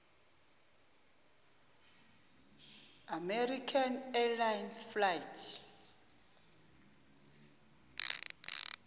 american airlines flight